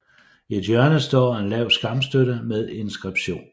I et hjørne står en lav skamstøtte med inskription